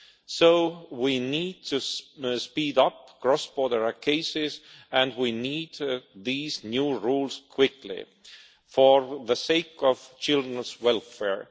So we need to speed up cross border cases, and we need these new rules quickly for the sake of children's welfare.